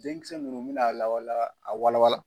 Denmisɛnw ninnu bɛna lawa a wala wala.